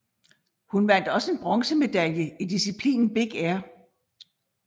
Hun vandt også en bronzemedalje i disciplinen big air